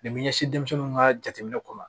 ɲɛsin denmisɛnw ka jateminɛw kɔnɔ